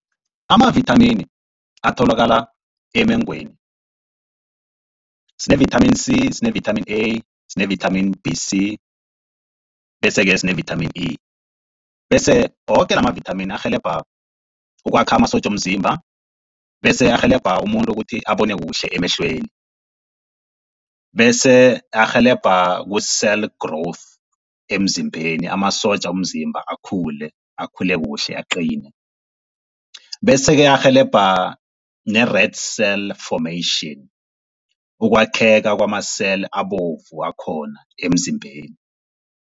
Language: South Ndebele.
Amavithamini atholakala emengweni sine-vitamin C, sine-vitamin A, sine-vitamin B, C, bese-ke sine-vitamin E. Bese woke la ma-vitamin arhelebha ukwakha amasotja womzimba, bese arhelebha umuntu ukuthi abone kuhle emehlweni. Bese arhelebha ku-cell growth emzimbeni amasotja womzimba akhule, akhule kuhle aqine. Bese-ke arhelebha ne-red cell formation ukwakheka kwama-cell abovu akhona emzimbeni.